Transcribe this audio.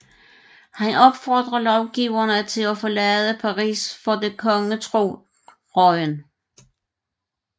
Han opfordrer lovgiverne til at forlade Paris for det da kongetro Rouen